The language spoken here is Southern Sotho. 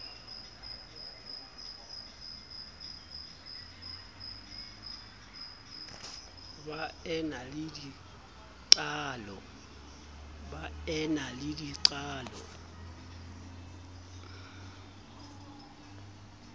ba e na le dinqalo